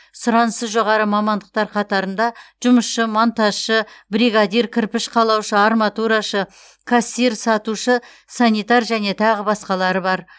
сұранысы жоғары мамандықтар қатарында жұмысшы монтажшы бригадир кірпіш қалаушы арматурашы кассир сатушы санитар және тағы басқалары бар